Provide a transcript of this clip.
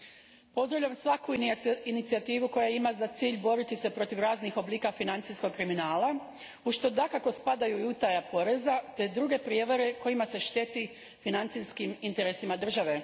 Gospodine predsjedniče, pozdravljam svaku inicijativu koja ima za cilj boriti se protiv raznih oblika financijskog kriminala, u što dakako spadaju i utaja poreza te druge prijevare kojima se šteti financijskim interesima države.